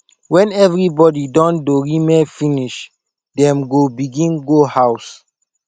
wen evribody don dorime finish dem go begin go house